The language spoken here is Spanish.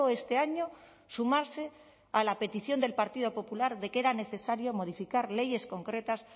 este año sumarse a la petición del partido popular de que era necesario modificar leyes concretas